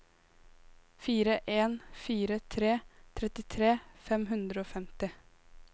fire en fire tre trettitre fem hundre og femti